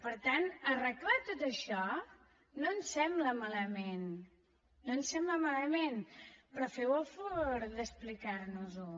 per tant arreglar tot això no ens sembla malament no ens sembla malament però feu el favor d’explicar nos ho